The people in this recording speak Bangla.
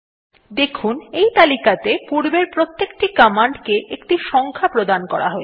দেখুন এই তালিকাতে পূর্বের প্রতেকটি কমান্ডকে একটি সংখ্যা প্রদান করা হয়ছে